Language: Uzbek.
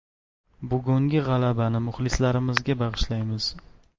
Bugungi g‘alabani muxlislarimizga bag‘ishlaymiz”.